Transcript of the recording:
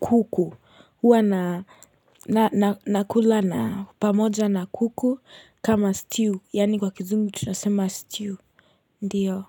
kuku. Huwa nakula na pamoja na kuku kama stew. Yani kwa kizungu tunasema stew. Ndiyo.